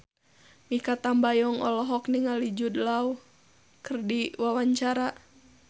Mikha Tambayong olohok ningali Jude Law keur diwawancara